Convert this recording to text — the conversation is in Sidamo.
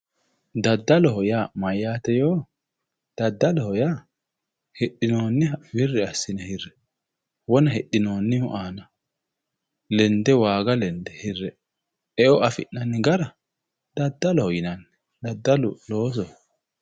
daddaloho yaa mayaate yoo daddaloho yaa hidhinooniha wirri assine hirranni wona hidhinoonihu aana lende waaga lende hirrayi e"o afi'nanni gara daddaloho yinanni daddalu loosoho.